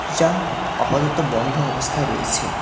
যা আপাতত বন্ধ অবস্থায় রয়েছে।